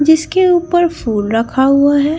जिसके ऊपर फूल रखा हुआ है।